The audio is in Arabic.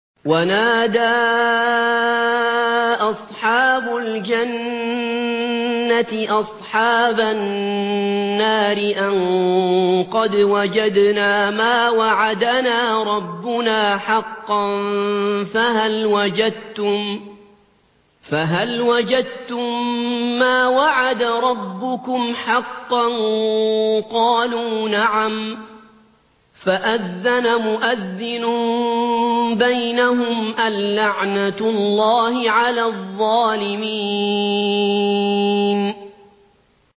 وَنَادَىٰ أَصْحَابُ الْجَنَّةِ أَصْحَابَ النَّارِ أَن قَدْ وَجَدْنَا مَا وَعَدَنَا رَبُّنَا حَقًّا فَهَلْ وَجَدتُّم مَّا وَعَدَ رَبُّكُمْ حَقًّا ۖ قَالُوا نَعَمْ ۚ فَأَذَّنَ مُؤَذِّنٌ بَيْنَهُمْ أَن لَّعْنَةُ اللَّهِ عَلَى الظَّالِمِينَ